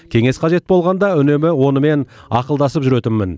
кеңес қажет болғанда үнемі онымен ақылдасып жүретінмін